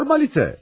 Formalite.